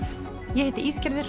ég heiti